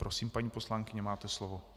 Prosím, paní poslankyně, máte slovo.